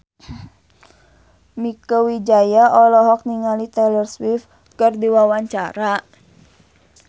Mieke Wijaya olohok ningali Taylor Swift keur diwawancara